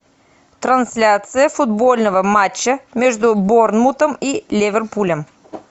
трансляция футбольного матча между борнмутом и ливерпулем